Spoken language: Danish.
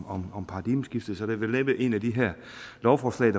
om om paradigmeskiftet er det vel næppe et af de her lovforslag